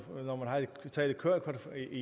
i